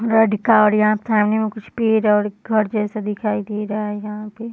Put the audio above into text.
लड़का और यहाँ पर समाने मे कुछ पेड़ हैं और घर जैसा दिखाई दे रहा है यहाँ पे।